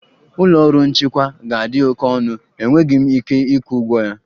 Ụlọ ọrụ nchịkwa ga-adị oke ọnụ, enweghị m ike ịkwụ ụgwọ ya